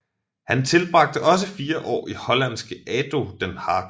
Han tilbragte også fire år i hollandske ADO Den Haag